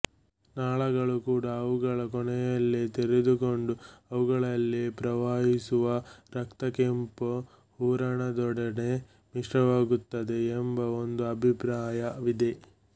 ನಾಳಗಳು ಕೂಡ ಅವುಗಳ ಕೊನೆಯಲ್ಲಿ ತೆರೆದುಕೊಂಡು ಅವುಗಳಲ್ಲಿ ಪ್ರವಹಿಸುವ ರಕ್ತಕೆಂಪು ಹೂರಣದೊಡನೆ ಮಿಶ್ರವಾಗುತ್ತವೆ ಎಂಬ ಒಂದು ಅಭಿಪ್ರಾಯವಿದೆ